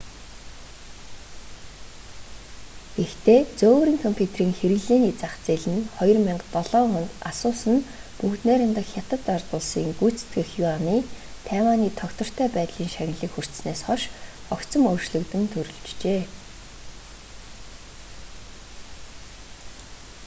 гэхдээ зөөврийн компьютерийн хэрэглээний зах зээл нь 2007 онд асус нь бүгд найрамдах хятад ард улсын гүйцэтгэх юаны тайваний тогтвортой байдлын шагналыг хүртсэнээс хойш огцом өөрчлөгдөн төрөлжжээ